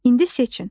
İndi seçin.